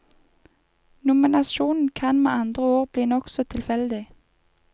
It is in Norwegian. Nominasjonen kan med andre ord bli nokså tilfeldig.